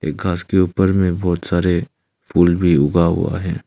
घास के ऊपर में बहुत सारे फूल भी उगा हुआ है।